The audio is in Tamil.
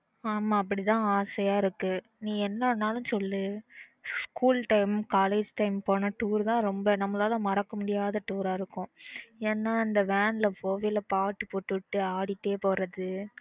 ஆனா அப்பிடித்தான் ஆசையா இருக்கு நீ என்னன்னாலும் சொல்லு school time college time போன toor தான் ரொம்ப நம்மளால மறக்கவே முடியாது toor இருக்கும் ஏன்னா அந்த van ல போகும்போது பாட்டு போட்டுவிட்டு ஆடிகிட்டே போறது